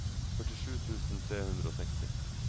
førtisju tusen tre hundre og seksti